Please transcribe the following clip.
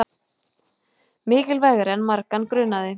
Mikilvægari en margan grunaði